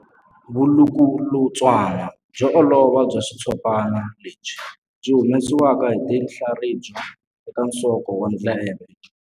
Vulukulutswana byo olova bya xitshopana lebyi byi humesiwaka hi tinhlaribya eka nsoko wa ndleve.